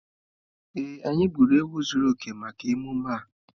Ee, anyị gburu ewu zuru oke maka emume a.